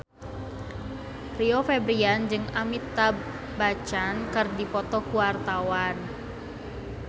Rio Febrian jeung Amitabh Bachchan keur dipoto ku wartawan